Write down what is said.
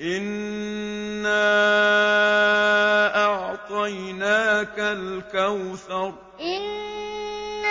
إِنَّا أَعْطَيْنَاكَ الْكَوْثَرَ إِنَّا